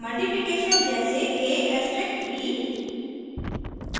* multiplication जैसे: a*b